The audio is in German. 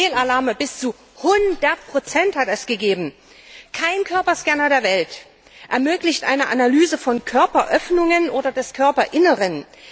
Fehlalarme bis zu 100 hat es gegeben. Kein Körperscanner der Welt ermöglicht eine Analyse von Körperöffnungen oder des Körperinneren.